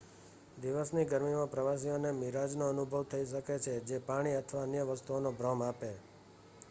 દિવસની ગરમીમાં પ્રવાસીઓને મિરાજનો અનુભવ થઈ શકે છે જે પાણી અથવા અન્ય વસ્તુઓનો ભ્રમ આપે